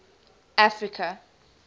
africa